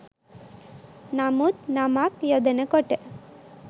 නමුත් නමක් යොදනකොට